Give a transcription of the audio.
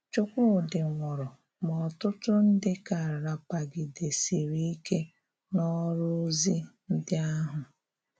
Chúkwúdị̀ nwụrụ́, ma ọ̀tụ̀tụ̀ ndị ka rápàgidesiri ike n’ọrụ́zị̀ ndị ahụ.